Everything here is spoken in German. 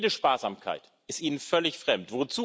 Jede Sparsamkeit ist Ihnen völlig fremd.